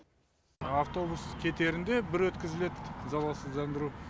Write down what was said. автобус кетерінде бір өткізіледі залалсыздандыру